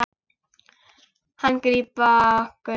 Hann grípa okkur.